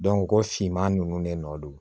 ko finman ninnu ne nɔ don